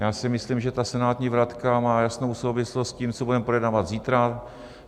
Já si myslím, že ta senátní vratka má jasnou souvislost s tím, co budeme projednávat zítra.